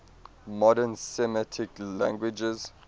modern semitic languages